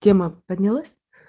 тема поднялась